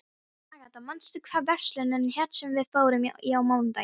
Agatha, manstu hvað verslunin hét sem við fórum í á mánudaginn?